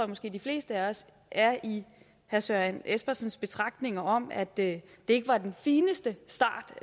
måske de fleste af os er i herre søren espersens betragtninger om at det ikke var den fineste start